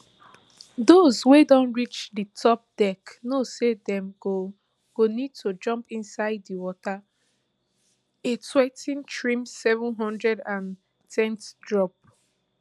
those wey don reach di top deck know say dem go go need to jump inside di water a twenty-threem seven hundred and ten ft drop